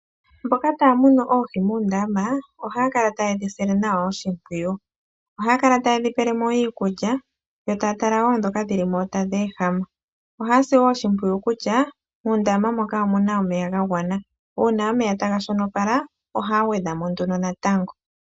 Mboka taya munu oohi muundama, ohaya kala taye dhisile nawa oshimpwiyu. Ohaya kala taye dhi pelemo iikulya, yo taa tala wo ndhoka dhilimo tadhi ehama. Ohaya sile wo oshimpwiyu kutya, muundama moka omuna omeya ga gwana. Uuna omeya taga shonopala, ohaya gwedhamo nduno natango.